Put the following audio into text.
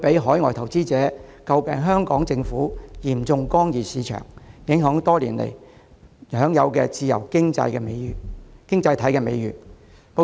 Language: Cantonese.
海外投資者則會指摘香港政府嚴重干預市場，令香港多年來享有的自由經濟體美譽受影響。